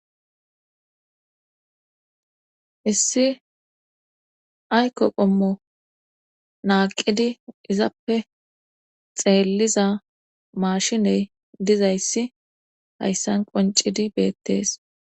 issi ayko qommo naaqidi izappe xeelliza mashiney dizayssi hayssan qoncidi beettees